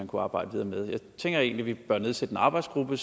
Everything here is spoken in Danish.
kunne arbejde videre med jeg tænker egentlig vi bør nedsætte en arbejdsgruppe